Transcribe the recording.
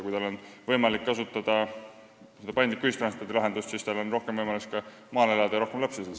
Aga kui on võimalik kasutada paindlikku ühistranspordilahendust, siis on neil ka rohkem võimalusi maal elada ja siin rohkem lapsi saada.